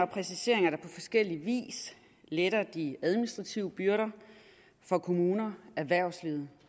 præciseringer der på forskellig vis letter de administrative byrder for kommunerne erhvervslivet